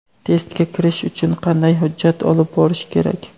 Testga kirish uchun qanday hujjat olib borish kerak?.